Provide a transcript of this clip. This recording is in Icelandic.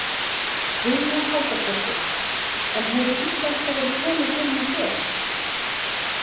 Hugrún Halldórsdóttir: En hefur íslenska verið töluð heima hjá þér?